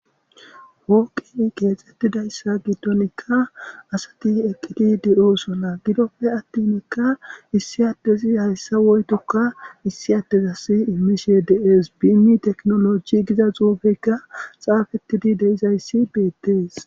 Hooqi qeexxettidayssa gittonikka asati eqqidi de'oo sona gidopfe attinekka issi attezi hayssa woytokka issi attezas imishe dees biimmi teknoloji giza xuufeyka xaafettidi deizayssi beettees.